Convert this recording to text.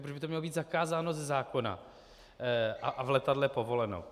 Proč by to mělo být zakázáno ze zákona a v letadle povoleno?